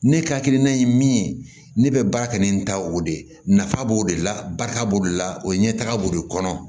Ne ka hakilina ye min ye ne bɛ baara kɛ ni n ta o de ye nafa b'o de la barika b'o de la o ye ɲɛtaga b'o de kɔnɔ